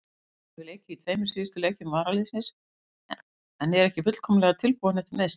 Hann hefur leikið í tveimur síðustu leikjum varaliðsins en er ekki fullkomlega tilbúinn eftir meiðsli.